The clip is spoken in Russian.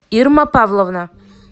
ирма павловна